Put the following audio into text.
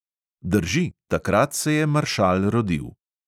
Drži, takrat se je maršal rodil.